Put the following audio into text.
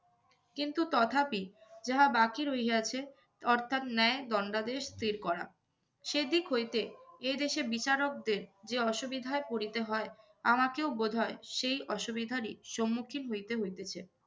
কিন্তু তথাপি যাহা বাকি রহিয়াছে অর্থাৎ ন্যায়, দণ্ডাদেশ স্থির করা। সেদিক হইতে এদেশের বিচারকদের যে অসুবিধায় পড়িতে হয় আমাকেও বোধহয় সেই অসুবিধারই সম্মুখীন হইতে হইতেছে।